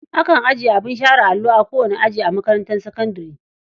Akan ajiye abin share allo a kowane aji a makarantar sakandare.